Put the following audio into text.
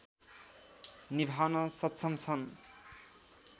निभाउन सक्षम छन्